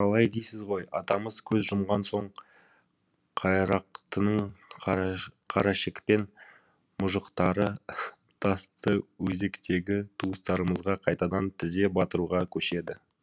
қалай дейсіз ғой атамыз көз жұмған соң қайрақтының қарашекпен мұжықтары тастыөзектегі туыстарымызға қайтадан тізе батыруға көшеді